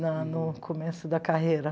Na no começo da carreira.